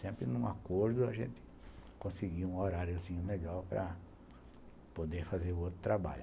Sempre num acordo a gente conseguia um horário assim, legal, para poder fazer o outro trabalho.